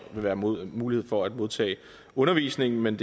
vil være mulighed mulighed for at modtage undervisning men